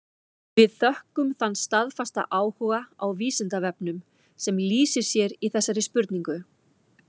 Við þökkum þann staðfasta áhuga á Vísindavefnum sem lýsir sér í þessari spurningu.